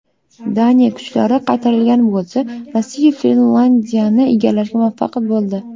Daniya kuchlari qaytarilgan bo‘lsa, Rossiya Finlandiyani egallashga muvaffaq bo‘ldi.